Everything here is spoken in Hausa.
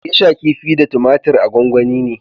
Gesha kifi da tumatir a gwanwani ne